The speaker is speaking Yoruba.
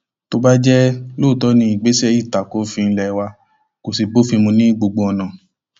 tó bá jẹ lóòótọ ni ìgbésẹ yìí ta ko òfin ilé wa kó sì bófin mu ní gbogbo ọnà